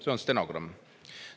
" See on stenogramm.